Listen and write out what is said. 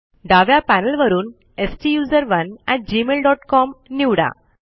डाव्या पॅनल वरून STUSERONEgmailcom निवडा